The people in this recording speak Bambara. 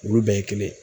Olu bɛɛ ye kelen ye